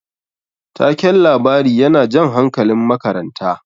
Taken labari yana jan hankalin makaranta.